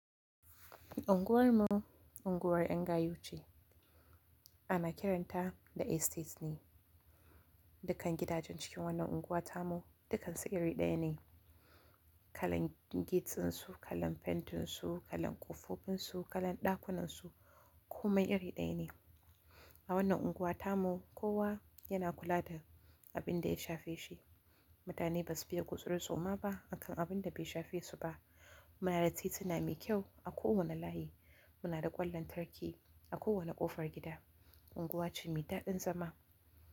Unguwar mu, unguwar yan gayu ce. Ana kiranta da estate ne, dukkan gidajen cikin wannan unguwa tamu, dukkan su iri ɗaya ne. Kalan gate ɗinsu, kalan pentinsu, kalan ƙofofunsu, kalan ɗakunansu komai iri ɗaya ne. A wannan unguwa tamu, kowa yana kula da abin da ya shafe shi. Mutane basu fiye gutsuri-tsoma ba akan abun da bai shafe su ba. Muna da tituna me kyau a kowane layi. Muna da ƙwan lantarki a kowane ƙofar gida. Unguwa ce mai daɗin zama.